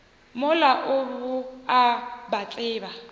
mola o a ba tseba